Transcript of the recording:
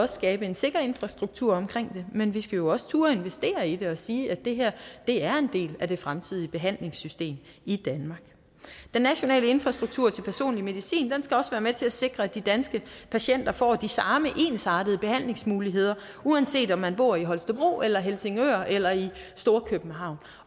skabe en sikker infrastruktur omkring det men vi skal jo også turde investere i det og sige at det her er en del af det fremtidige behandlingssystem i danmark den nationale infrastruktur til personlig medicin skal også være med til at sikre at de danske patienter får de samme ensartede behandlingsmuligheder uanset om de bor i holstebro eller i helsingør eller i storkøbenhavn